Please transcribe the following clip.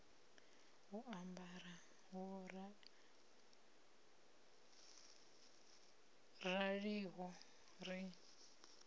u ambara ho raliho ri